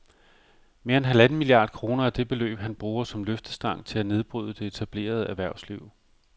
Mere end halvanden milliard kroner er det beløb, han bruger som løftestang til at nedbryde det etablerede erhvervsliv